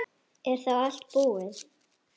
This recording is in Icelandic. Er þá allt búið?